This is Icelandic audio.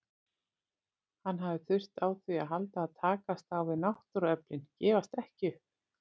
Hann hafði þurft á því að halda að takast á við náttúruöflin, gefast ekki upp.